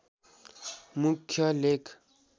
मुख्य लेख